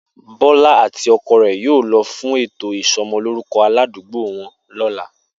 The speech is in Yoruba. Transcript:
Bó̩lá àti o̩ko̩ rè̩ yóò lo̩ fún ètò ìso̩mo̩lóruko̩ aládùágbò wo̩n ló̩la